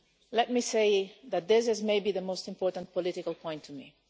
Let me say that this is perhaps the most important political point to me.